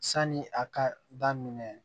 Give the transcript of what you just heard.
Sani a ka daminɛ